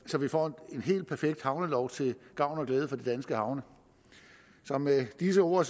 så vi får en helt perfekt havnelov til gavn og glæde for de danske havne så med disse ord